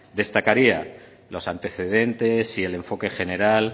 destacaría los antecedentes y el enfoque general